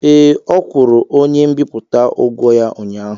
Ee, ọ kwụrụ onye mbipụta ụgwọ ya ụnyaahụ.